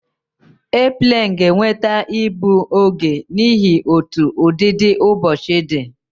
Airplane ga enweta igbu oge n'ihi otú ụdịdị ụbọchị di